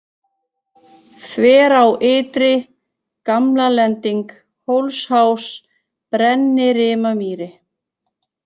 Þverá ytri, Gamlalending, Hólsháls, Brennirimamýri